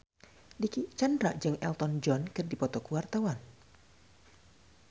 Dicky Chandra jeung Elton John keur dipoto ku wartawan